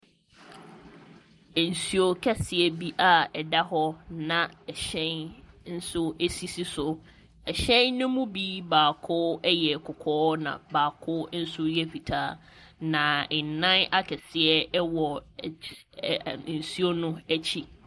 Nsuo kɛseɛ bi a ɛda hɔ, na ɛhyɛn nso sisi so. Ɛhyɛn no mu bi baako yɛ kɔkɔɔ, na baako nso yɛ fitaa, na nnan akɛseɛ wɔ aky ɛ ɛ nsuo no akyi.